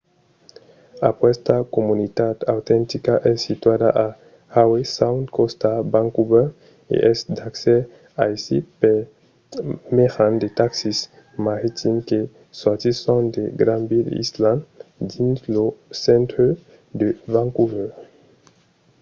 aquesta comunitat autentica es situada a howe sound còsta vancouver e es d'accès aisit per mejan de taxis maritims que sortisson de granville island dins lo centre de vancouver